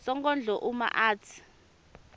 sonkondlo uma atsi